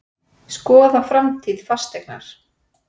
Skoða framtíð Fasteignar